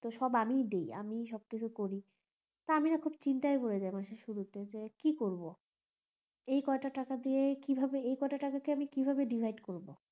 তো সব আমি ই দি আমিই সব কিছু করি তা আমি না খুব চিন্তায় পরে যাই মাসের শুরুতে যে কি করবো এই কটা টাকা দিয়ে কিভাবে কি করবো এই কটা টাকা কে আমি কি ভাবে divide করবো